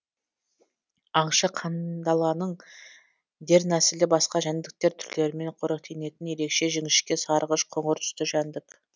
аңшы қандаланың дернәсілі басқа жәндіктер түрлерімен қоректенетін ерекше жіңішке сарғыш қоңыр түсті жәндік